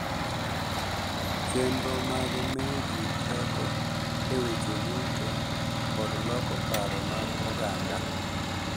Chenro mag miyo ji teko e weche yuto kod loko paro mag oganda.